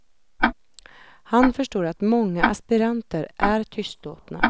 Han förstår att många aspiranter är tystlåtna.